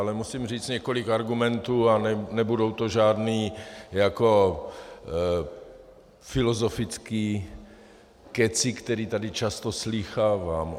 Ale musím říct několik argumentů a nebudou to žádný jako filozofický kecy, který tady často slýchávám.